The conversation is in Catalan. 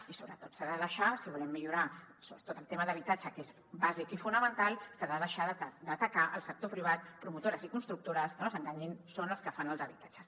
i sobretot si volem millorar el tema d’habitatge que és bàsic i fonamental s’ha de deixar d’atacar el sector privat promotores i constructores que no s’enganyin són els que fan els habitatges